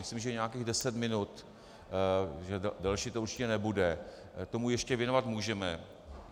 Myslím, že nějakých deset minut, že delší to určitě nebude, tomu ještě věnovat můžeme.